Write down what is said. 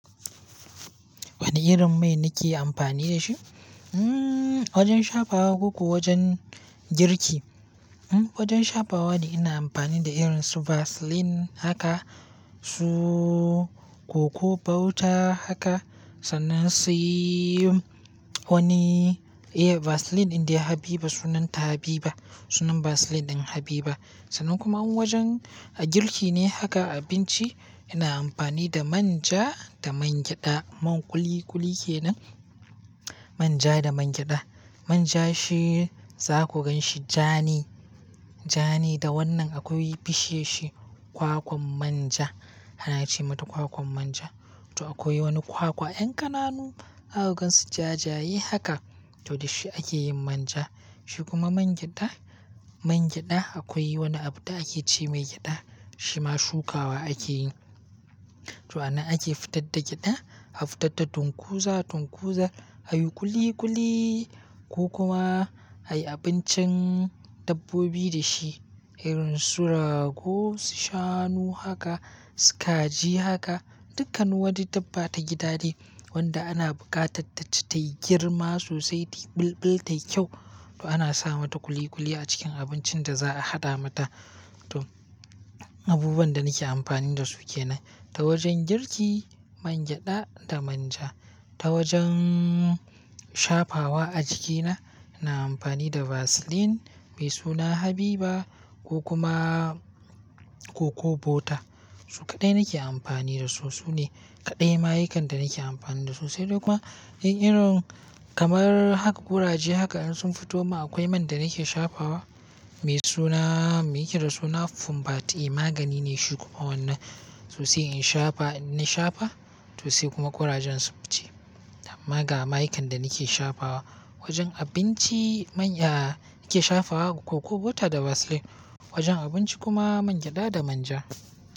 Wane irin mai nake amfani da shi? Hmmm! Wajen shafawa ko kuwa wajen girki? Hmm! Wajen shafawa ina amfani da irin su Vaseline haka, su cocoa butter haka, sannan sai wani, eh Vaseline ɗin dai Habiba sunanta Habiba. Sunan Vaseline ɗin Habiba. Sannan kuma in wajen girki ne haka abinci ina amfani da manja da mangyada. Man kuli-kuli kenan. Manja da mangyada. Manja shi za ku gan shi ja ne, ja ne. Da wannan akwai bishiyar shi kwakwan manja. Ana ce mata kwakwan manja. To akwai wani kwakwa 'yan kananu, za ku gansu jajaye haka. To da shi ake yin manja. Shi kuma mangyada, mangyada akwai wani abu da ake ce mai gyada. Shi ma shukawa ake yi. To anan ake fitar da gyada, a fitar da tunkuza, tunkuza a yi kuli-kuli ko kuma a yi abincin dabbobi da shi. Irin su rago, shanu haka, su kaji haka, dukkan wani dabba ta gida ne, wanda ana bukatar taci tayi girma sosai, ta yi bulbul, ta yi kyau. To ana sa mata kuli-kuli a cikin abincin da za a haɗa mata. To abubuwan da nake amfani da su kenan. Ta wajen girki mangyada da manja. Ta wajen shafawa a jikina, ina amfani da Vaseline mai suna Habiba ko kuma cocoa butter. Su kaɗai nake amfani da su. Su ne kaɗai mayukan da nake amfani da su. Sai dai kuma in irin kamar haka kuraje haka in sun fito min akwai man da nake shafawa mai suna, me yake da suna Fumbat A. Magani ne shi kuma wannan sosai in shafa, idan na shafa, to sai kuma kurajen su fice. Amma ga mayukan da nake shafawa wajen abinci manya, nake shafawa cocoa butter da Vaseline. Wajen abinci kuma mangyada da manja.